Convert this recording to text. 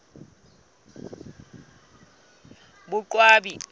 boqwabi